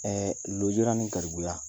Ɛ lujura ni garibuya